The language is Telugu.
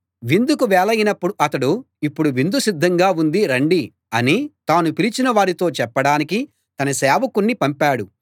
విందుకు వేళయినప్పుడు అతడు ఇప్పుడు విందు సిద్ధంగా ఉంది రండి అని తాను పిలిచిన వారితో చెప్పడానికి తన సేవకుణ్ణి పంపాడు